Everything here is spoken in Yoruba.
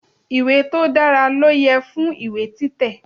Ìwé tó dára ló yẹ fún ìwé títẹ̀.